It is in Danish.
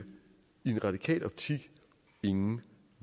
i en radikal optik ingen